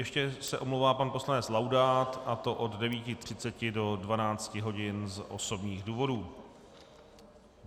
Ještě se omlouvá pan poslanec Laudát, a to od 9.30 do 12 hodin z osobních důvodů.